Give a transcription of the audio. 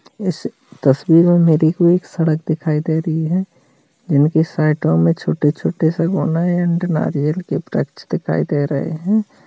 इस तस्वीर में मेरे को एक सड़क दिखाई दे रही है जिनके साइडो में छोटे-छोटे से नारियल वृक्ष दिखाई दे रहे हैं।